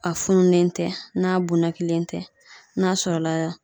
A fununen tɛ n'a bonakilen tɛ n'a sɔrɔla